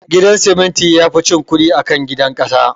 Gidan siminti yafi cin kudi akan gidan kasa